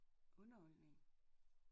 Underholdning